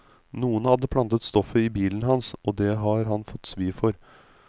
Noen hadde plantet stoffet i bilen hans, og det har han fått svi for.